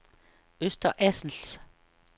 Øster Assels